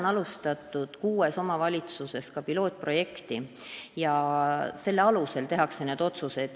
Praegu on kuues omavalitsuses alustatud pilootprojekti ja selle alusel tehakse need otsused.